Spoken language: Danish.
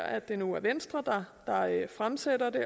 at det nu er venstre der fremsætter det